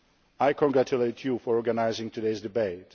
Ukraine, I congratulate you for organising today's